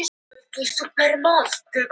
Hvaða tryggingu hef ég?